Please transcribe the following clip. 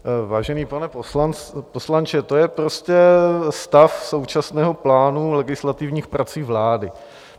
Vážený pane poslance, to je prostě stav současného plánu legislativních prací vlády.